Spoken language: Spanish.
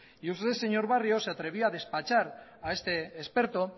y usted señor barrio se atrevió a despachar a este experto